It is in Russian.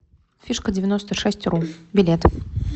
фишкадевяностошестьру билет